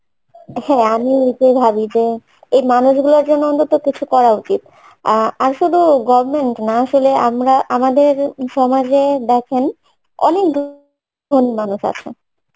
হ্যাঁ, আমি এইটা ভাবি যে এই মানুষগুলার জন্যে অন্তত কিছু করা উচিত আহ শুধু govement নয়, আসলে আমরা আমাদের সমাজে দেখেন অনেক মানুষ আছেন